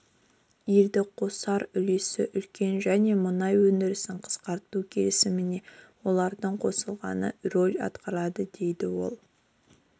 елдің қосар үлесі үлкен және мұнай өндірісін қысқарту келісіміне олардың қосылғаны рөль атқарады дейді ол